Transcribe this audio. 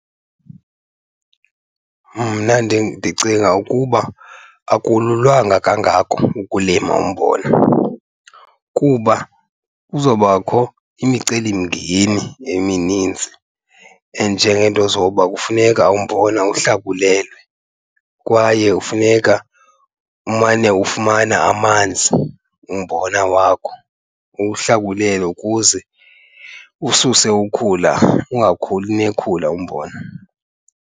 Mna ndicinga ukuba akululanga kangako ukulima umbona kuba kuzobakho imicelimngeni eminintsi enjengeento zoba kufuneka umbona uhlakulelwe kwaye kufuneka umane ufumana amanzi umbona wakho. Uwuhlakulele ukuze ususe ukhula, ungakhuli nekhula umbona.